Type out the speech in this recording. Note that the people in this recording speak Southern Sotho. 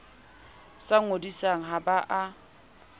sa ngodisang ha ba a